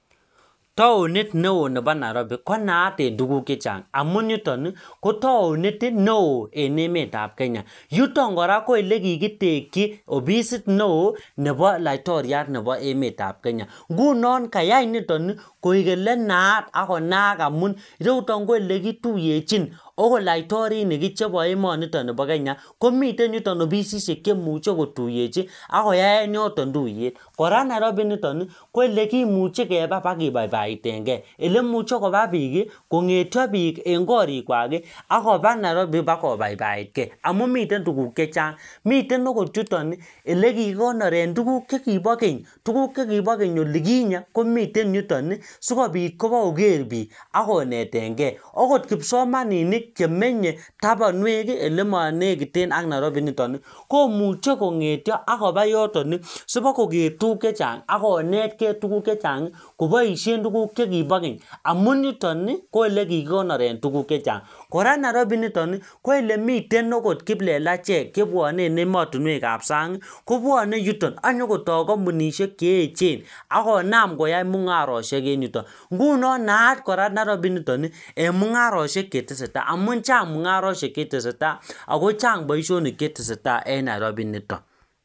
Taonit neoo nepo nairobi konaat en tuguk chechang' amun yuton ii kotaonit neoo en emetab kenya yuton ko ele kikitekyi ofisit neoo nepo laitoriat nepo emetab kenya ngunon kayai nitoni koik elenaat akonaak amun ireiyutoni ko ele kituyechin agot laitorinik chepo emonitok npo kenya komiten yuton ofisishekchemuche kotuyechi ak koyaen yoton tuyet kora nairobi initok ii koelekimuche kepa pakipaipaitenge ele muche kopa biik kongetio biik en korik kwaki akoba nairobi kwa kobaibaitkee amun miten tuguk chechang' miten agot yutoni elekikonoren tuguk chekibo keny tuguk chekibo keny olikinye komiten yuto yuu sikopit ipokoker biik ak konetenge agot kipsomaninik chemenye tobwonwek ii ele monekiten ak nairobi initok komuche kong'etio akopa yoton ii sipokoker tuguk chechang' akonetkee kopoishen tuguk chekipo keny amunyuton ii ko ele kikonoren tuguk chechang kora nairobi initok ii koelemiten kiplelachek chebwone en emotinwek ab sang ii kobwone yuton ak nyokotoo kompunishek cheeechen akonam koyai mung'aroshek en yuton ngunon naat kora nairobi initoni en mung'aroshek chetesetaa amun chang' mung'aroishek cheteseta ako chang boishonik chetesetaa en nairobi nitok